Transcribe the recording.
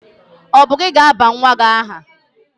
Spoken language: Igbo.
Ọ bụ gị ga-aba nwa gị aha?